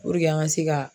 Puruke an ka se ka